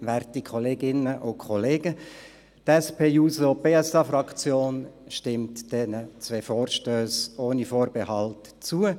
Die SP-JUSO-PSA-Fraktion stimmt diesen zwei Vorstössen ohne Vorbehalt zu.